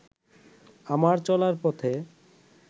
আমার চলার পথে